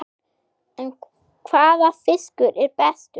En hvaða fiskur er bestur?